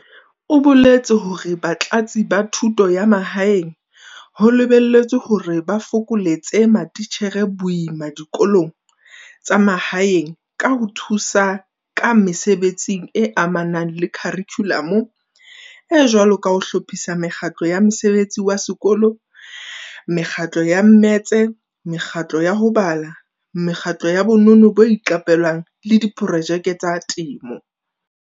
O boletse hore Batlatsi ba Thuto ya Mahaeng ho lebe lletswe hore ba fokoletse matitjhere boima dikolong tsa mahaeng ka ho thusa ka mesebetsing e amanang le kharikhulamo e jwalo ka ho hlophisa mekgatlo ya mosebetsi wa sekolo, mekgatlo ya mmetse, mekgatlo ya ho bala, mekgatlo ya bonono bo iqapelwang le diprojeke tsa temo.